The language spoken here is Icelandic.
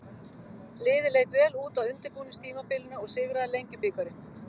Liðið leit vel út á undirbúningstímabilinu og sigraði Lengjubikarinn.